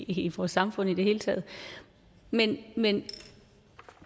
i vores samfund i det hele taget men men